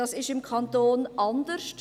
Das ist im Kanton anders.